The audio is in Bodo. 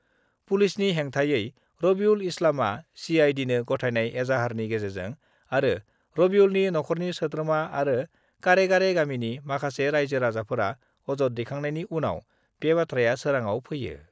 पुलिसनि हेंथायै रबिउल इस्लामआ सिआइडिनो गथायनाय एजाहारनि गेजेरजों आरो रबिउलनि नख'रनि सोद्रोमा आरो करेगारि गामिनि माखासे राइजो-राजाफोरा अजद दैखांनायनि उनाव बे बाथ्राया सोराङाव फैयो।